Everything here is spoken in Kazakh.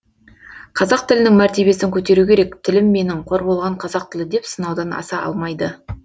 қазақ тілінің мәртебесін көтеру керек тілім менің қор болған қазақ тілі деп сынаудан аса алмайды